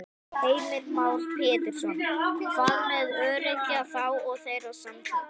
Heimir Már Pétursson: Hvað með öryrkja þá og þeirra samtök?